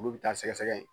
Olu bɛ taa sɛgɛsɛgɛ